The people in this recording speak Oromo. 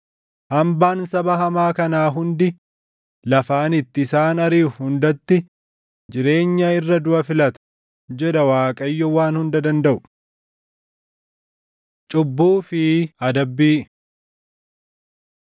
Hambaan saba hamaa kanaa hundi lafa ani itti isaan ariʼu hundatti jireenya irra duʼa filata’ jedha Waaqayyo Waan Hunda Dandaʼu. Cubbuu fi Adabbii